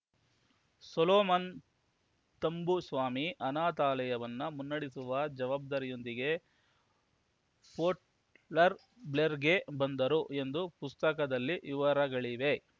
Solomon Thambuswamy ಅನಾಥಾಲಯವನ್ನು ಮುನ್ನಡೆಸುವ ಜವಾಬ್ದಾರಿಯೊಂದಿಗೆ ಪೋರ್ಟ್‌ಬ್ಲೇರ್‌ ಬ್ಲೇರ್‌ಗೆ ಬಂದರು ಎಂದು ಪುಸ್ತಕದಲ್ಲಿ ವಿವರಗಳಿವೆ